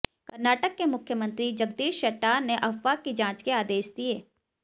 कर्नाटक के मुख्यमंत्री जगदीश शेट्टार ने अफवाह की जांच के आदेश दिए